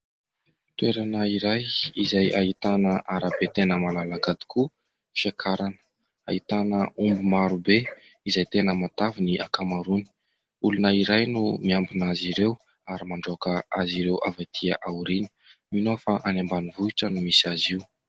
Toerana iray izay ahitana arabe tena malalaka tokoa. Fiakarana ahitana omby maro be izay tena matavy ny ankamaroany. Olona iray no miambina azy ireo ary mandroaka azy ireo avy aty aoriana. Mino aho fa any ambanivohitra no misy azy io.